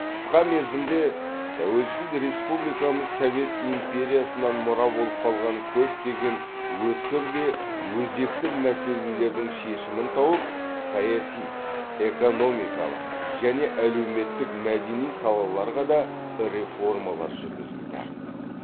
қысқа мерзімде тәуелсіз республикамыз совет империясынан мұра болып қалған көптеген өткір де өзекті мәселелердің шешімін тауып саяси экономикалық және әлеуметтік мәдени салаларға да реформалар жүргізілді